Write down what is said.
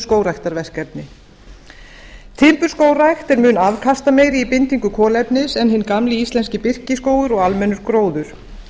skógræktarverkefni timburskógrækt er mjög afkastameiri í bindingu kolefnis en hinn gamli íslenski birkiskógur og almennur gróður